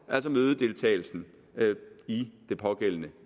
altså mødedeltagelsen i det pågældende